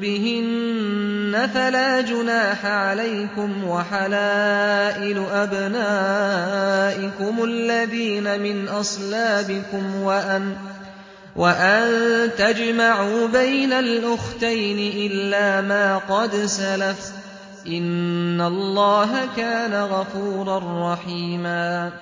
بِهِنَّ فَلَا جُنَاحَ عَلَيْكُمْ وَحَلَائِلُ أَبْنَائِكُمُ الَّذِينَ مِنْ أَصْلَابِكُمْ وَأَن تَجْمَعُوا بَيْنَ الْأُخْتَيْنِ إِلَّا مَا قَدْ سَلَفَ ۗ إِنَّ اللَّهَ كَانَ غَفُورًا رَّحِيمًا